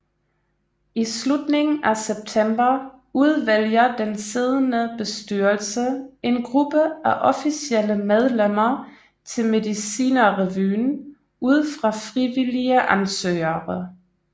I slutningen af september udvælger den siddende bestyrelse en gruppe af officielle medlemmer til Medicinerrevyen ud fra frivillige ansøgere